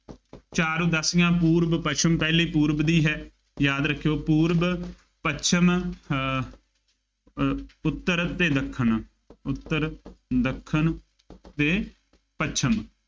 ਚਾਰ ਉਦਾਸੀਆਂ, ਪੂਰਬ, ਪੱਛਮ, ਪਹਿਲੀ ਪੂਰਬ ਦੀ ਹੈ, ਯਾਦ ਰੱਖਿਉ, ਪੂਰਬ, ਪੱਛਮ ਅਹ ਅਹ ਉੱਤਰ ਅਤੇ ਦੱਖਣ, ਉੱਤਰ, ਦੱਖਣ ਅਤੇ ਪੱਛਮ।